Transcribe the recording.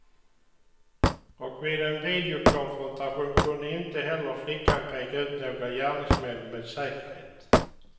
Och vid en videokonfrontation kunde inte heller flickan peka ut några gärningsmän med säkerhet.